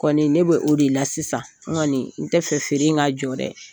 Kɔni ne bɛ o de la sisan n kɔni n tɛ fɛ feere in ka jɔ dɛ